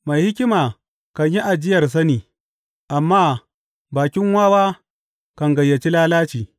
Mai hikima kan yi ajiyar sani, amma bakin wawa kan gayyaci lalaci.